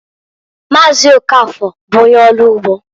Maazị Okafor bụ onye ọlụ ugbo.